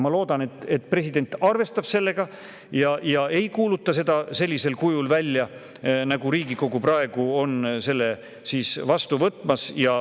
Ma loodan, et president arvestab sellega ja et ta ei kuuluta seda sellisel kujul välja, nagu Riigikogu praegu seda vastu võtmas on.